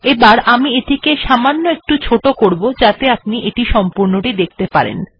এখন আমি এটিকে অপেক্ষাকৃত ছোট করব যাতে আপনি সম্পূর্ণটা দেখতে পান